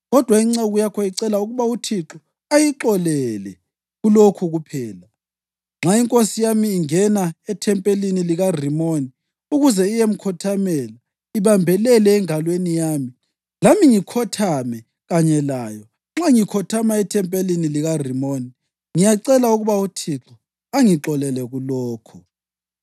Kodwa inceku yakho icela ukuba uThixo ayixolele kulokhu kuphela: Nxa inkosi yami ingena ethempelini likaRimoni ukuze iyemkhothamela ibambelele engalweni yami lami ngikhothame kanye layo, nxa ngikhothama ethempelini likaRimoni, ngiyacela ukuba uThixo angixolele kulokho.”